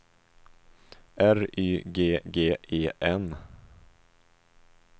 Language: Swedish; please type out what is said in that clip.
R Y G G E N